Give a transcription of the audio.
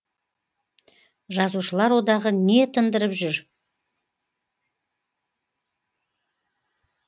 жазушылар одағы не тындырып жүр